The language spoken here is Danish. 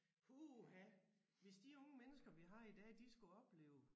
Puha hvis de unge mennesker vi har i dag de skulle opleve